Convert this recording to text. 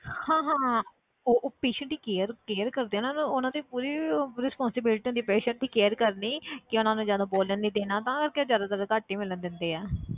ਹਾਂ ਹਾਂ ਉਹ patient ਦੀ care care ਕਰਦੇ ਆ ਨਾ ਉਹਨਾਂ ਦੀ ਪੂਰੀ ਉਹ responsibility ਹੁੰਦੀ ਆ patient ਦੀ care ਕਰਨੀ ਕਿ ਉਹਨਾਂ ਨੂੰ ਜ਼ਿਆਦਾ ਬੋਲਣ ਨੀ ਦੇਣਾ ਤਾਂ ਕਰਕੇ ਉਹ ਜ਼ਿਆਦਾਤਰ ਘੱਟ ਹੀ ਮਿਲਣ ਦਿੰਦੇ ਆ